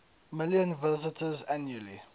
million visitors annually